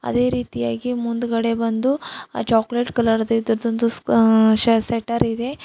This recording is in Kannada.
ಅದೇ ರೀತಿಯಾಗಿ ಮುಂದ್ಗಡೆ ಬಂದು ಚಾಕ್ಲೇಟ್ ಕಲರ್ ಇದರದೊಂದು ಆ ಶ -ಶೆಟ್ಟರ್ ಇದೆ.